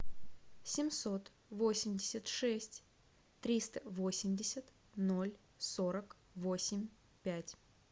семьсот восемьдесят шесть триста восемьдесят ноль сорок восемь пять